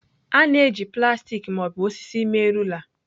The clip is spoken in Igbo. A na-eji plastik ma ọ bụ osisi mee rula.